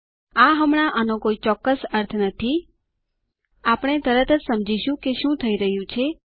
આ હમણાં આનો કોઈ ચોક્કસ અર્થ નથી આપણે તરત સમજીશું કે શું થઇ રહ્યું છે